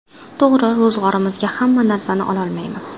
To‘g‘ri, ro‘zg‘orimizga hamma narsani ololmaymiz.